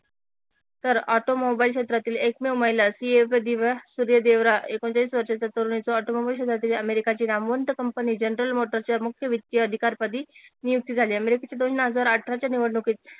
तर ऑटोमोबाईल क्षेत्रातील दिव्या सुर्यदेवरा एकोणचाळीस वर्षाच्या तरुणीचा ऑटोमोबाईल क्षेत्रातील अमेरिकाची नामवंत कंपनी जनरल मोटरच्या वित्तीय अधिकार पदी नियुक्ती झाली दोन हजार अठराच्या निवडणूकीत